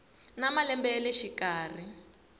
na malembe ya le xikarhi